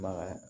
Bagan